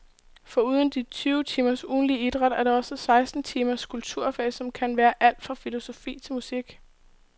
Foruden de tyve timers ugentlig idræt er der også seksten timers kulturfag, som kan være alt fra filosofi til musik.